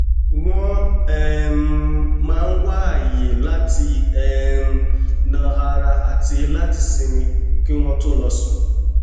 wón um máa ń wá àyè láti um nà ara àti láti sinmi kí wón tó lọ sùn